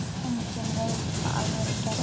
Hleypum inn lofti.